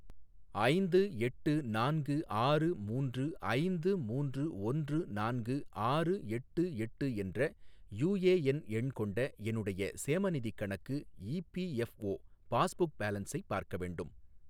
ஐந்து எட்டு நான்கு ஆறு மூன்று ஐந்து மூன்று ஒன்று நான்கு ஆறு எட்டு எட்டு என்ற யுஎஎன் எண் கொண்ட என்னுடைய சேமநிதிக் கணக்கு இபிஎஃப்ஓ பாஸ்புக் பேலன்ஸை பார்க்க வேண்டும்.